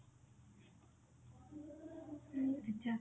ଆଚ୍ଛା